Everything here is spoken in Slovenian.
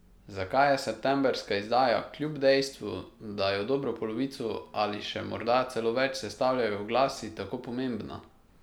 Zakaj je septembrska izdaja, kljub dejstvu, da jo dobro polovico ali še morda celo več sestavljajo oglasi, tako pomembna?